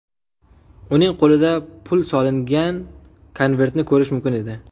Uning qo‘lida pul solingan konvertni ko‘rish mumkin edi.